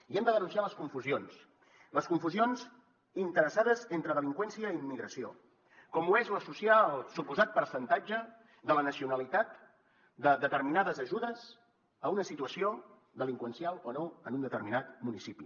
i hem de denunciar les confusions les confusions interessades entre delinqüència i immigració com ho és l’associar el suposat percentatge de la nacionalitat de determinades ajudes a una situació delinqüencial o no en un determinat municipi